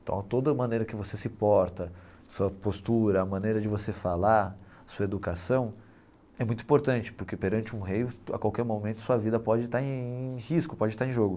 Então toda maneira que você se porta, sua postura, a maneira de você falar, sua educação, é muito importante porque perante um rei a qualquer momento sua vida pode estar em em risco, pode estar em jogo.